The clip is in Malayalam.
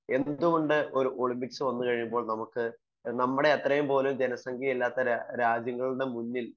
എന്തുകൊണ്ട് ഒരു ഒളിമ്പിക്സ് വന്നു കഴിഞ്ഞാൽ നമ്മുടെ അത്രയും പോലും ജനസംഖ്യ ഇല്ലാത്ത രാജ്യങ്ങളുടെ മുന്നിൽ